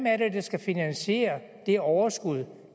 er det der skal finansiere det overskud